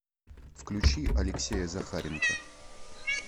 включи алексея захаренко